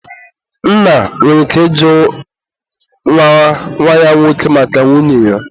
nna nwere ike ịjụ nwa ya nwoke maka nwunye ya.